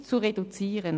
ist] zu reduzieren.»